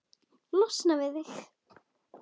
Losna við þig?